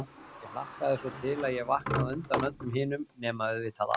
Ég hlakkaði svo til að ég vaknaði á undan öllum hinum, nema auðvitað afa.